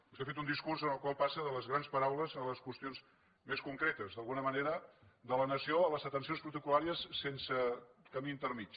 vostè ha fet un discurs en el qual passa de les grans paraules a les qüestions més concretes d’alguna manera de la nació a les atencions protocol·làries sense camí intermedi